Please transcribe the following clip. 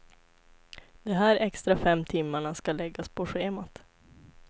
De här extra fem timmarna ska läggas på schemat.